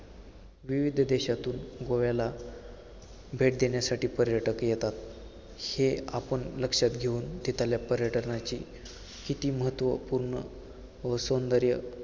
विविध देशातून गोव्याला भेट देण्यासाठी पर्यटक येतात, हे आपण लक्षात घेऊन तिथल्या पर्यटनाची किती महत्वपूर्ण व सौंदर्य